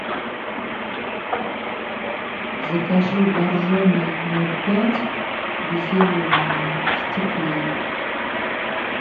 закажи боржоми ноль пять газированную в стекле